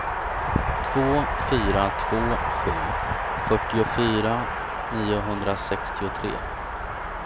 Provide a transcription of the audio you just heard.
två fyra två sju fyrtiofyra niohundrasextiotre